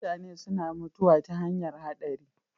Mutane suna mutuwa ta hanyar haɗari.